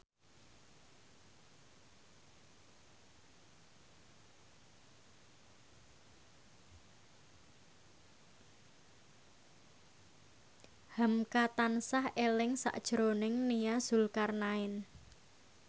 hamka tansah eling sakjroning Nia Zulkarnaen